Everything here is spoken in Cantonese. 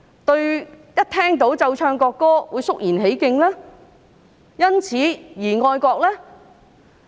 市民是否在聽到奏唱國歌時便會肅然起敬，因而變得愛國呢？